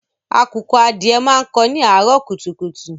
Àkùkọ adìẹ máa ń kó ni àárọ̀ kùtùkùtù.